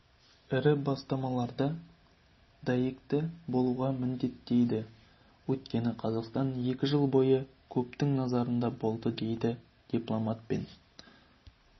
ірі бастамаларда дәйекті болуға міндеттейді өйткені қазақстан екі жыл бойы көптің назарында болады дейді дипломатпен